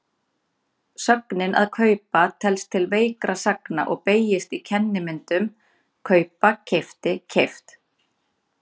Sögnin að kaupa telst til veikra sagna og beygist í kennimyndum kaupa-keypti-keypt.